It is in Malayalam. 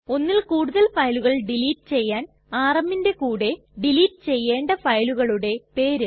ഒന്നിൽ കൂടുതൽ ഫയലുകൾ ഡിലീറ്റ് ചെയ്യാൻ rmന്റെ കൂടെ ഡിലീറ്റ് ചെയ്യണ്ട ഫയലുകളുടെ പേര്